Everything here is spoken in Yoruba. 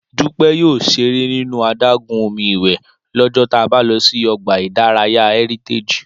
Dúpẹ́ yóò ṣeré nínú adágún omi ìwẹ̀ lọ́jọ́ ta bá lọ sí ọgbà ìdárayá Heritage